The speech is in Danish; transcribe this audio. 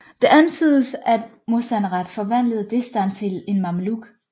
Det antydes at Mozanrath forvandlede Destan til en Mameluk